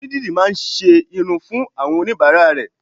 Onídìrí má a ńṣe irun fún àwọn oníbàárà rè